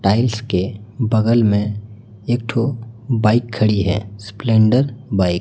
tiles के बगल में एक ठो बाइक खड़ी है स्पलेंडर बाइक --